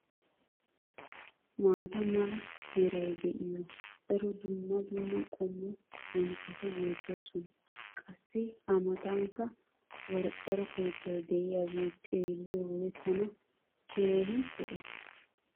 maata mala meray de'iyo daro dumma dumma qommo bonccoti beetoosona. qassi a matankka qorqqoro keettay diyaagee xeeliyoode tana keehi lo'ees.